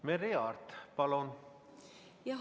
Merry Aart, palun!